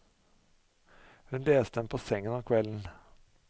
Hun leste den på sengen om kvelden.